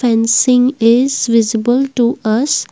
fencing is visible to us.